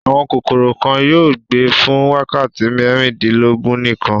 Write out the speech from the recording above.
Àwọn kòkòrò kan yóò gbé fún wákàtí mẹ́rìnlélógún nìkan.